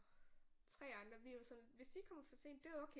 3 andre vi var sådan hvis de kommer for sent det er okay